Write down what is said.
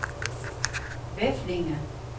Veflinge